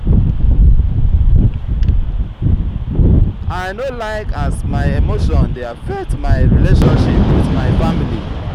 i no like as my emotion dey affect my relationship with my family.